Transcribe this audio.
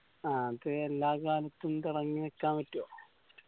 ആ അത് എല്ലാ കാലത്തും തെളങ്ങി നിക്കാൻ പറ്റോ